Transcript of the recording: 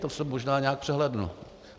To jsem možná nějak přehlédl.